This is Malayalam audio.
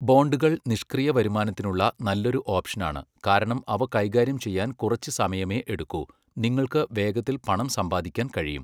ബോണ്ടുകൾ നിഷ്ക്രിയ വരുമാനത്തിനുള്ള നല്ലൊരു ഓപ്ഷനാണ്, കാരണം അവ കൈകാര്യം ചെയ്യാൻ കുറച്ച് സമയമേ എടുക്കൂ, നിങ്ങൾക്ക് വേഗത്തിൽ പണം സമ്പാദിക്കാൻ കഴിയും.